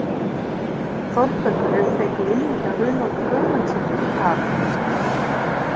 Þórbergur hefur fengið inni hjá Runólfi Guðmundssyni að